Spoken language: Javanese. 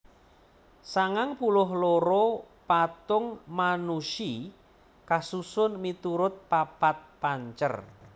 sangang puluh loro patung Manushi kasusun miturut papat pancer